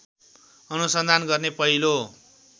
अनुसन्धान गर्ने पहिलो